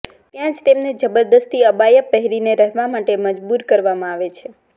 ત્યાં જ તેમને જબદરસ્તી અબાયા પહેરીને રહેવા માટે મજબૂર કરવામાં આવે છે